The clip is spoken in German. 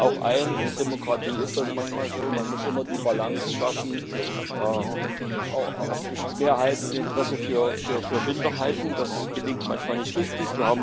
Ich räume auch ein, in der Demokratie ist das manchmal so Man muss immer die Balance schaffen auch zwischen Mehrheit und Interesse für Minderheiten. Das gelingt manchmal nicht richtig.